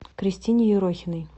кристине ерохиной